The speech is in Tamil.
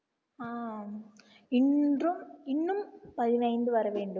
இன்றும் இன்னும் பதினைந்து வர வேண்டும்